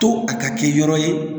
To a ka kɛ yɔrɔ ye